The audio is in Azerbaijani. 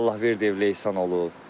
Allahverdi ev Leysan olub.